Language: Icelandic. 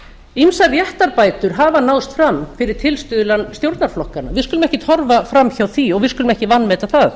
ýmsar réttarbætur hafa náðst fram fyrir tilstuðlan stjórnarflokkanna við skulum ekkert horfa fram hjá því og við skulum ekki vanmeta það